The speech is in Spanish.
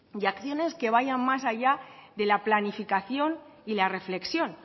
y acciones que vayan más allá de la planificación y la reflexión